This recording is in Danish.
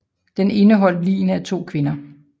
Den indeholdt ligene af to kvinder